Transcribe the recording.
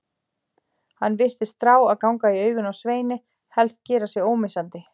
Hann virtist þrá að ganga í augun á Sveini, helst gera sig ómissandi.